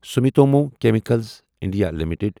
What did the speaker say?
Sumitomo chemical India limited